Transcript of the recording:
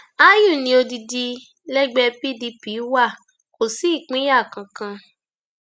àyù ní odidi lẹgbẹ pdp wa kò sí ìpínyà kankan